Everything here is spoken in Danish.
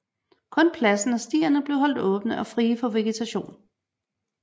Kun pladsen og stierne blev holdt åbne og frie for vegetation